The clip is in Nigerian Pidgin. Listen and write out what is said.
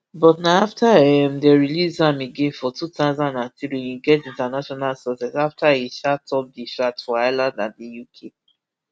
but na afta um dem release am again for two thousand and three im get international success afta e um top di charts for ireland and di uk